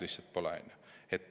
Lihtsalt pole lugenud.